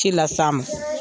Ci la se a ma.